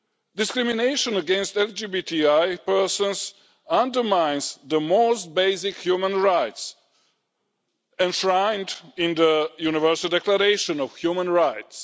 Discrimination against LGBTI persons undermines the most basic human rights enshrined in the Universal Declaration of Human Rights.